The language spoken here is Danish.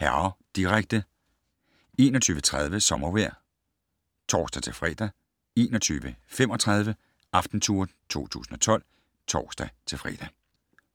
(m), direkte 21:30: Sommervejr (tor-fre) 21:35: Aftentour 2012 (tor-fre)